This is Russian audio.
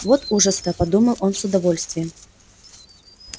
вот ужас то подумал он с удовольствием